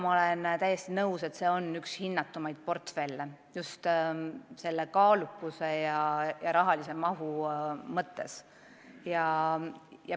Ma olen täiesti nõus, et see on üks hinnatumaid portfelle just selle kaalukuse ja rahalise mahu mõttes.